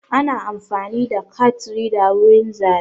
Ana amfani da kat rida wurin zaɓe.